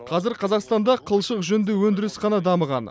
қазір қазақстанда қылшық жүнді өндіріс қана дамыған